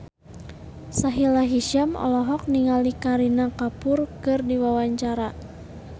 Sahila Hisyam olohok ningali Kareena Kapoor keur diwawancara